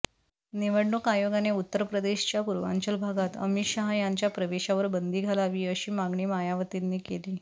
निवडणूक आयोगाने उत्तरप्रदेशच्या पूर्वांचल भागात अमित शहा यांच्या प्रवेशावर बंदी घालावी अशी मागणी मायावतींनी केली